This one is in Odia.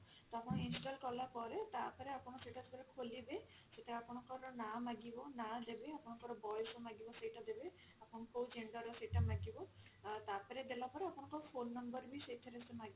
install କଲା ପରେ ତାପରେ ଅପ ଶେଠରେ ଖୋଳିବେ ସେଥିରେ ଆପଣଙ୍କର ନାଁ ମାଗିବ ସେଇଥିରେ ସେ ମାଗିବ ଆପଣଙ୍କର ବୟସ ମାଗିବ ଆପଣ କୋଊ gender ସେଇଟା ମାଗିବ ଯାପରେ ଦେଲା ପରେ ଆପଣ ଙ୍କ phone number ସେଥିରେ ଦେଲା ପରେ